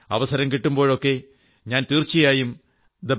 അവസരം കിട്ടുമ്പോഴൊക്കെ ഞാൻ തീർച്ചയായും thebetterindia